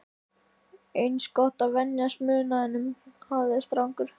Eins gott að venjast munaðinum, hafði strákur